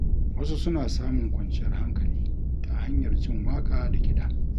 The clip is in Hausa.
Wasu suna samun kwanciyar hankali ta hanyar jin waƙa da kiɗa.